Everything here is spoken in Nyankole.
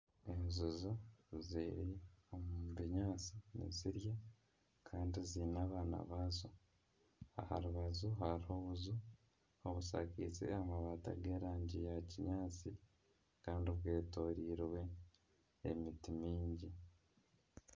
Enjojo ziri omu binyaatsi nizirya kandi ziine abaana baazo aha rubaju hariho obuju obushakize amabaati ag'erangi ya kinyaatsi kandi bwetorirwe emiti mingi.